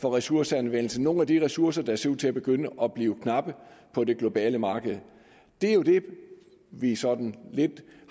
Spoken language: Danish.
for ressourceanvendelsen nogle af de ressourcer der ser ud til at begynde at blive knappe på det globale marked det er jo det vi sådan lidt